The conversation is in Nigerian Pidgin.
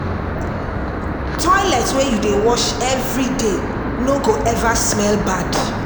Toilet wey you dey wash every day no go ever smell bad.